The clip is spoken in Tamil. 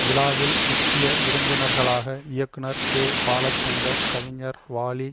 விழாவில் முக்கிய விருந்தினர்களாக இயக்குனர் கே பாலசந்தர் கவிஞர் வாலி